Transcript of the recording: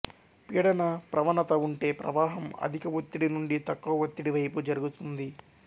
పీడన ప్రవణత ఉంటే ప్రవాహం అధిక ఒత్తిడి నుండి తక్కువ ఒత్తిడి వైపు జరుగుతుంది